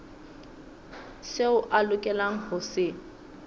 seo a lokelang ho se